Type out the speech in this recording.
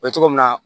O ye cogo min na